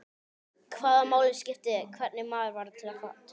Hvaða máli skipti hvernig maður var til fara?